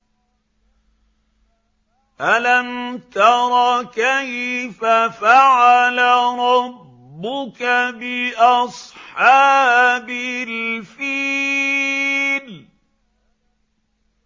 أَلَمْ تَرَ كَيْفَ فَعَلَ رَبُّكَ بِأَصْحَابِ الْفِيلِ